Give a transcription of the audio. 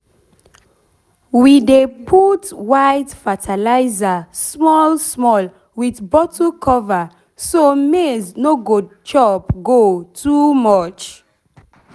we dey put white fertilizer small small with bottle cover so maize no go chop go too much.